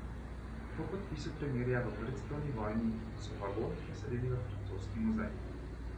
Po podpisu premirja v prvi svetovni vojni so vagon preselili v francoski muzej.